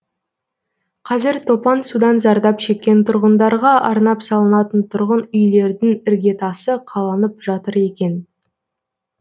қазір топан судан зардап шеккен тұрғындарға арнап салынатын тұрғын үйлердің іргетасы қаланып жатыр екен